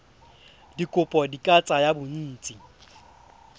dikopo di ka tsaya bontsi